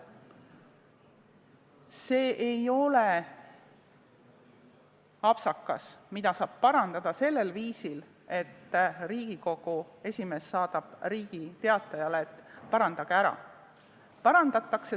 See ei ole apsakas, mida saab parandada sellel viisil, et Riigikogu esimees saadab Riigi Teatajale sõnumi, et parandage ära.